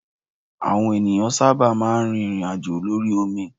Àwọn ènìyàn sábà máa ń rí ìrìn àjò lórí omi.